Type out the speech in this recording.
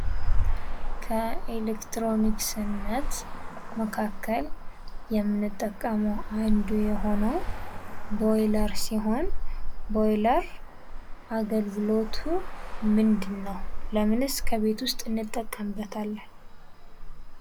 ከኤለክትሮኒስነት መካከል የምንጠቀመው አንዱ ቦይለር ሲሆን ቦይለር አገልግሎቱ ምንድን ነው? ለምንስ ከቤት ውስጥ እንጠቀምበታለን?